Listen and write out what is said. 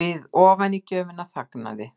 Við ofanígjöfina þagnaði